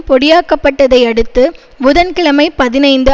பொடியாக்கப்பட்டதை அடுத்து புதன் கிழமை பதினைந்து